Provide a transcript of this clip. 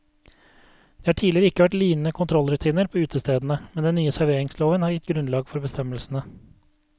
Det har ikke tidligere vært lignende kontrollrutiner på utestedene, men den nye serveringsloven har gitt grunnlag for bestemmelsene.